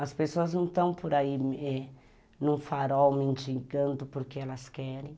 As pessoas não estão por aí é, em um farol mendigando porque elas querem.